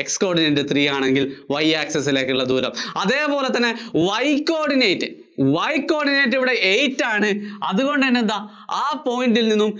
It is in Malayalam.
X coordinate into three ആണെങ്കില്‍ Y access ലേക്കുള്ള ദൂരം. അതേപോലെതന്നെ Y coordinate, Y coordinate, ഇവിടെ eight ആണ് അതുകൊണ്ട് അതിനെന്താ, ആ point ല്‍ നിന്നും